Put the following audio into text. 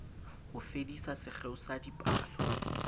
ho fedisa sekgeo sa dipalo